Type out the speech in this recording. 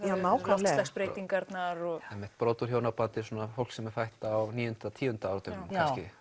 loftslagsbreytingarnar brot úr hjónabandi fólk sem er fætt á níunda og tíunda áratugnum